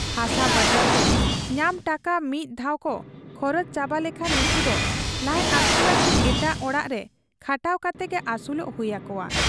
ᱦᱟᱥᱟ ᱵᱟᱫᱟᱞᱛᱮ ᱧᱟᱢ ᱴᱟᱠᱟ ᱢᱤᱫ ᱫᱷᱟᱣᱠᱚ ᱠᱷᱚᱨᱚᱪ ᱪᱟᱵᱟ ᱞᱮᱠᱷᱟᱱ ᱱᱩᱠᱩᱫᱚ ᱞᱟᱡ ᱟᱹᱥᱩᱞ ᱞᱟᱹᱜᱤᱫ ᱮᱴᱟᱜ ᱚᱲᱟᱜ ᱨᱮ ᱠᱷᱟᱴᱟᱣ ᱠᱟᱛᱮᱜᱮ ᱟᱹᱥᱩᱞᱚᱜ ᱦᱩᱭ ᱟᱠᱚᱣᱟ ᱾